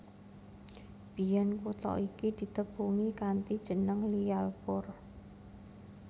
Biyèn kutha iki ditepungi kanthi jeneng Lyallpur